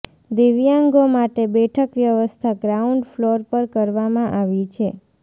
દિવ્યાંગો માટે બેઠક વ્યવસ્થા ગ્રાઉન્ડ ફલોર પર કરવામાં આવી છે